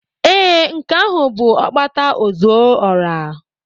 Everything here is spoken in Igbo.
Ee, nke ahụ bụ Okpata ozuora.